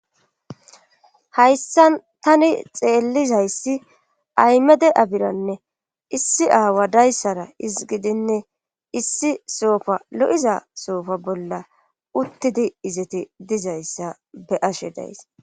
hayssa tani xeellizayssi aymede abiranne issi aawa dayssara iz gidinne issi soofa lo7iza soofa bolla uttidi izeti dizayssa be7ashe dayise